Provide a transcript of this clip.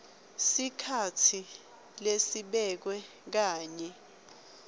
sikhatsi lesibekiwe kanye